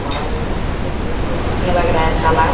और देखिए बहुत बढ़िया लग रहा है तालाब।